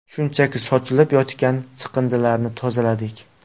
Shunchaki sochilib yotgan chiqindilarni tozaladik.